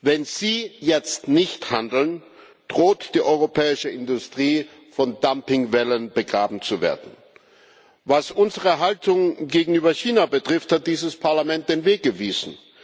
Wenn Sie jetzt nicht handeln, droht die europäische Industrie von Dumpingwellen begraben zu werden. Was unsere Haltung gegenüber China betrifft, hat dieses Parlament den Weg gewiesen.